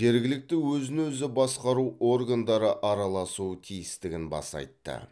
жергілікті өзін өзі басқару органдары араласуы тиістігін баса айтты